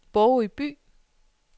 Bogø By